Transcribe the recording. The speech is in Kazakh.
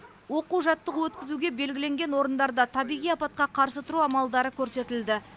оқу жаттығу өткізуге белгіленген орындарда табиғи апатқа қарсы тұру амалдары көрсетілді